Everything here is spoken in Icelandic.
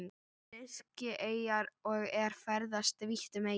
Sikileyjar og er ferðast vítt um eyjuna.